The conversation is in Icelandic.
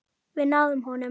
Við náðum honum.